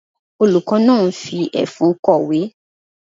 Olùkọ́ náà ń fi ẹfun kọ̀wé.